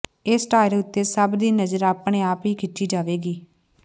ਇਸ ਟਾਇਰ ਉੱਤੇ ਸਭ ਦੀ ਨਜ਼ਰ ਆਪਣੇ ਆਪ ਹੀ ਖਿੱਚੀ ਜਾਵੇਗੀ